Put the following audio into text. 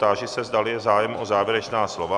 Táži se, zdali je zájem o závěrečná slova.